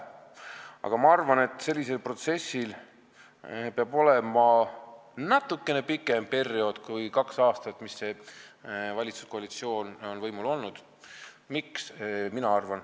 Aga ma arvan, et selline protsess peab kestma natuke pikema perioodi kui kaks aastat, mil see valitsuskoalitsioon on võimul olnud.